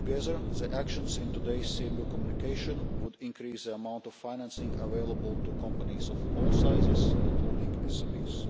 Taken together the action in today's CMU communication will increase the amount of financing available to companies of all sizes, including SMEs.